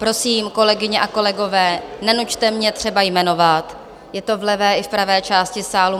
Prosím, kolegyně a kolegové, nenuťte mě třeba jmenovat, je to v levé i v pravé části sálu.